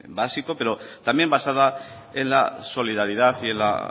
básico pero también basada en la solidaridad y en la